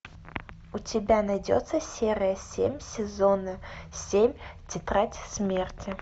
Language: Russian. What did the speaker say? у тебя найдется серия семь сезона семь тетрадь смерти